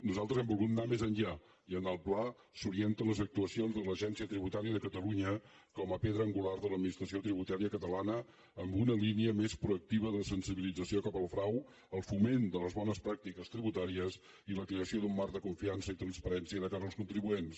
nosaltres hem volgut anar més enllà i en el pla s’orienten les actuacions de l’agència tributària de catalunya com a pedra angular de l’administració tributària catalana amb una línia més proactiva de sensibilització cap al frau el foment de les bones pràctiques tributàries i la creació d’un marc de confiança i transparència de cara als contribuents